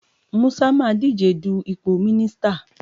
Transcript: Musa máa díje du ipò mínísítà.